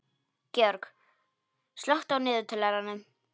George, slökktu á niðurteljaranum.